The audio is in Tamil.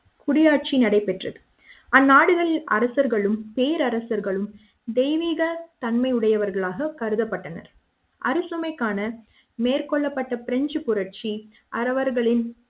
குடியாட்சி நடைபெற்றது அந்நாடுகளில் அரசர்களும் பேரரசர்களும் தெய்வீக தன்மையுடையவர்களாக கருதப்பட்டனர் அரசவைக்காண காண மேற்கொள்ளப்பட்ட பிரெஞ்சு புரட்சி அவர்களின்